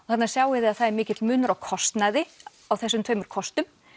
þarna sjáið þið að það er mikill munur á kostnaði á þessum tveimur kostum